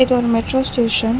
இது ஒரு metro station .